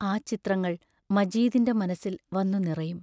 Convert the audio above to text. ആ ചിത്രങ്ങൾ മജീദിന്റെ മനസ്സിൽ വന്നു നിറയും.